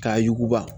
K'a yuguba